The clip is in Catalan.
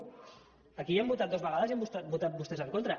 aquí ja ho hem votat dues vegades i hi han votat vostès en contra